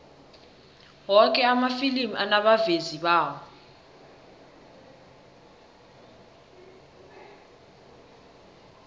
woke amafilimi anabavezi bawo